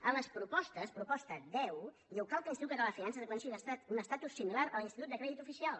en les propostes proposta deu diu cal que l’institut català de finances aconsegueixi un estatus similar a l’institut de crèdit oficial